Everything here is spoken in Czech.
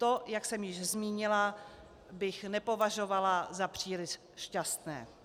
To, jak jsem již zmínila, bych nepovažovala za příliš šťastné.